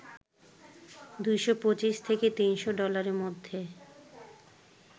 ২২৫ থেকে ৩০০ ডলারের মধ্যে